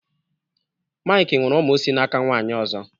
Mike nwere ụmụ si n'aka nwaanyị ọzọ